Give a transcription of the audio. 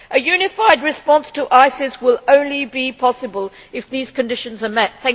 A unified response to ISIS will only be possible if these conditions are met.